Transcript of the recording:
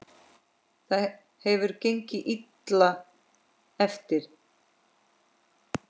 Það hefur gengið illa eftir.